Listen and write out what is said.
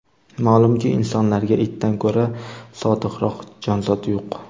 Ma’lumki, insonlarga itdan ko‘ra sodiqroq jonzot yo‘q.